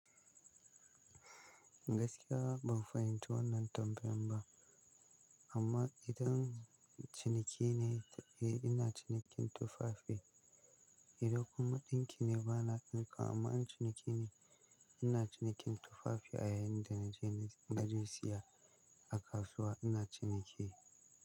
Gaskiya ban fahimci wannan tambayan ba amma idan ciniki ne, eh ina cinikin tufafi. Idan kuma ɗinki ne bana yin ɗinki amma in ciniki ne ina cinikin tufafi a yayin da naje na je siya a kasuwa ina ciniki.